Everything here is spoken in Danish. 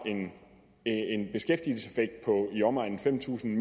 er en beskæftigelseseffekt på i omegnen af fem tusind